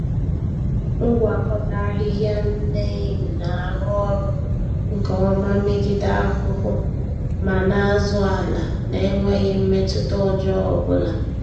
Ngwakọta-ahịhịa Neem na-arụ ọrụ nke ọma megide ahụhụ ma na-azụ ala na-enweghị mmetụta ọjọọ ọbụla.